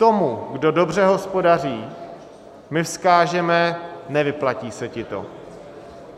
Tomu, kdo dobře hospodaří, my vzkážeme: nevyplatí se ti to,